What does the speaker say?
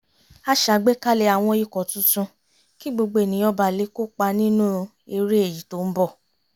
a ṣàgbékalẹ̀ àwọn ikọ̀ tuntun kí gbogbo ènìyàn ba lè kópa nínú eré èyí tó ń bọ̀